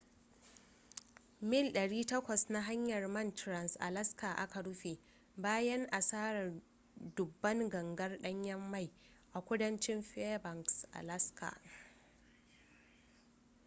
mil 800 na hanyar man trans-alaska aka rufe bayan asarar dubban gangar danyen mai a kudancin fairbanks alaska